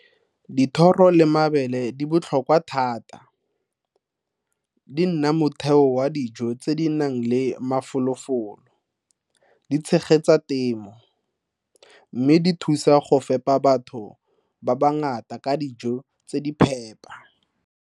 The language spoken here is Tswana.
Dithoro le mabele di botlhokwa thata. Di nna motheo wa dijo tse di nang le mafolofolo, di tshegetsa temo mme di thusa go fepa batho ba bangata ka dijo tse di phepa.